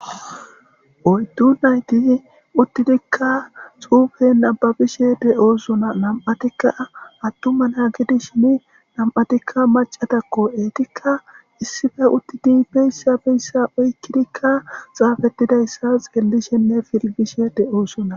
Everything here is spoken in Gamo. Oyddu nayti uttidikka xuufe nababishe de7oosona nam7atikka attuman ha gidi shini nam7atikka macatakko eetikka issife uttidi beyssa beyssa oykkidikka xaafettidayssa xeellishenne filgishe de7oosona.